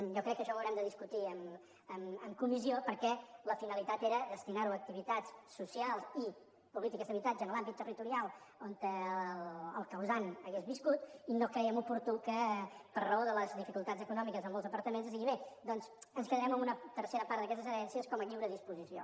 jo crec que això ho haurem de discutir en comissió perquè la finalitat era destinar ho a activitats socials i polítiques d’habitatge en l’àmbit territorial on el causant hagués viscut i no creiem oportú que per raó de les dificultats econòmiques de molts departaments es digui bé doncs ens quedarem amb una tercera part d’aquestes herències com a lliure disposició